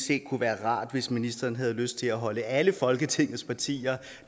det kunne være rart hvis ministeren havde lyst til at holde alle folketingets partier